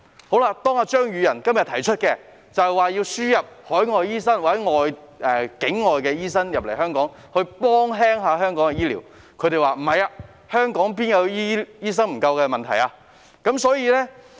可是，今天，當張宇人提出議案，要求輸入海外醫生或境外醫生來港紓緩香港醫療人手的問題時，他們又否認香港醫生人手不足。